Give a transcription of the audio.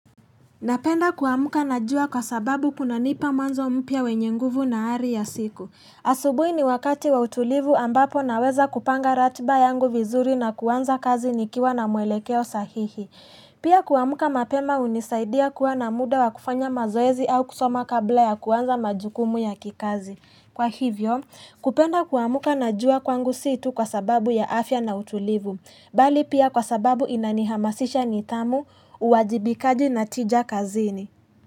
Napenda kuamka na jua kwa sababu kunanipa mwanzo mpya wenye nguvu na ari ya siku. Asubuhi ni wakati wa utulivu ambapo naweza kupanga ratiba yangu vizuri na kuanza kazi nikiwa na mwelekeo sahihi. Pia kuamka mapema hunisaidia kuwa na muda wa kufanya mazoezi au kusoma kabla ya kuwanza majukumu ya kikazi. Kwa hivyo, kupenda kuamka na jua kwangu si tu kwa sababu ya afya na utulivu. Bali pia kwa sababu inanihamasisha nidhamu uwajibikaji na tija kazini.